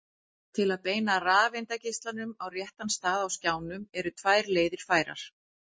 til að beina rafeindageislanum á réttan stað á skjánum eru tvær leiðir færar